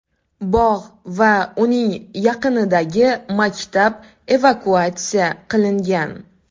Bog‘ va uning yaqinidagi maktab evakuatsiya qilingan.